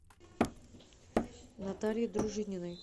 наталье дружининой